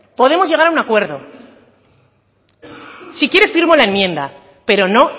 podemos llegar a un acuerdo si quiere firmo la enmienda pero no